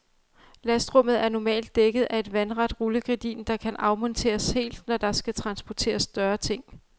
Lastrummet er normalt dækket af et vandret rullegardin, der kan afmonteres helt, når der skal transporteres større ting.